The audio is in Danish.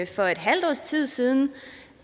for et halvt års tid siden